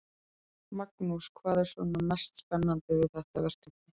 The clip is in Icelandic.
Magnús: Hvað er svona mest spennandi við þetta verkefni?